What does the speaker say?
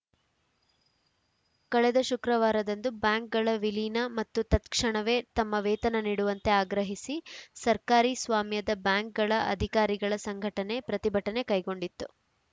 ಕಳೆದ ಶುಕ್ರವಾರದಂದು ಬ್ಯಾಂಕ್‌ಗಳ ವಿಲೀನ ಮತ್ತು ತತ್‌ಕ್ಷಣವೇ ತಮ್ಮ ವೇತನ ನೀಡುವಂತೆ ಆಗ್ರಹಿಸಿ ಸರ್ಕಾರಿ ಸ್ವಾಮ್ಯದ ಬ್ಯಾಂಕ್‌ಗಳ ಅಧಿಕಾರಿಗಳ ಸಂಘಟನೆ ಪ್ರತಿಭಟನೆ ಕೈಗೊಂಡಿತ್ತು